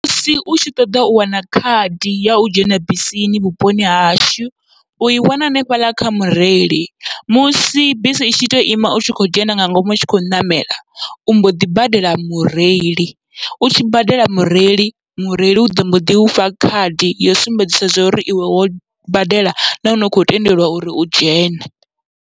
Musi utshi ṱoḓa u wana khadi yau dzhena bisini vhuponi hashu, ui wana hanefhaḽa kha mureili musi bisi itshi to ima utshi kho dzhena nga ngomu utshi khou ṋamela u mboḓi badela mureili, utshi badela mureili mureili uḓo mboḓi ufha khadi yo sumbedzisa uri iwe wo badela nahone u kho tendelwa uri u dzhene.